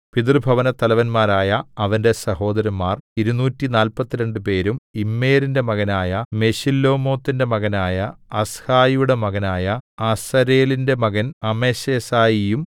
പിതൃഭവനത്തലവന്മാരായ അവന്റെ സഹോദരന്മാർ ഇരുനൂറ്റിനാല്പത്തിരണ്ട് പേരും ഇമ്മേരിന്റെ മകനായ മെശില്ലേമോത്തിന്റെ മകനായ അഹ്സായിയുടെ മകനായ അസരേലിന്റെ മകൻ അമശെസായിയും